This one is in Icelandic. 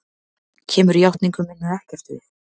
Kemur játningu minni ekkert við.